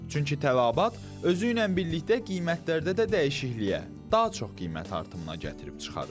Çünki tələbat özü ilə birlikdə qiymətlərdə də dəyişikliyə daha çox qiymət artımına gətirib çıxarır.